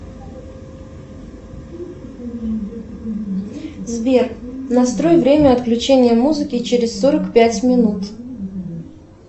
сбер настрой время отключения музыки через сорок пять минут